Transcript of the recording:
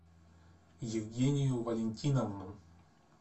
евгению валентиновну